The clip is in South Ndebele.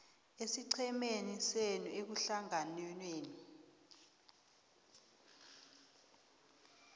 esiqhemeni senu ehlanganwenenu